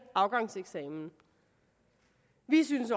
afgangseksamen vi synes